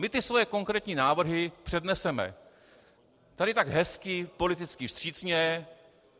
My ty svoje konkrétní návrhy předneseme tady tak hezky politicky vstřícně.